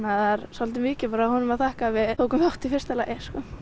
svolítið mikið honum að þakka að við tókum þátt í fyrsta lagi